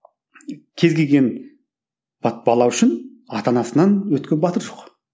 кез келген бала үшін ата анасынан өткен батыр жоқ